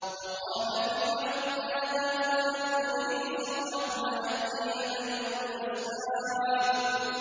وَقَالَ فِرْعَوْنُ يَا هَامَانُ ابْنِ لِي صَرْحًا لَّعَلِّي أَبْلُغُ الْأَسْبَابَ